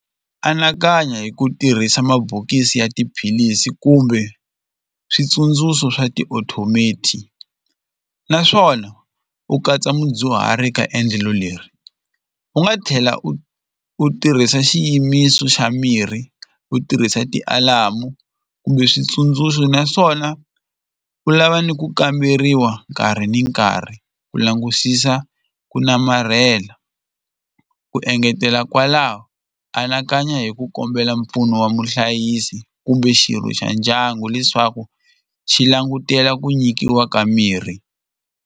Anakanya hi ku tirhisa mabokisi ya tiphilisi kumbe switsundzuxo swa naswona u katsa mudyuhari ka endlelo leri u nga tlhela u u tirhisa xiyimiso xa mirhi u tirhisa ti-alarm-u kumbe switsundzuxo naswona u lava ni ku kamberiwa nkarhi ni nkarhi ku langusisa ku namarhela ku engetela kwalaho anakanya hi ku kombela mpfuno wa muhlayisi kumbe xirho xa ndyangu leswaku xi langutela ku nyikiwa ka mirhi.